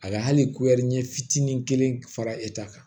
A ka hali kuɛri ɲɛ fitinin kelen fara e ta kan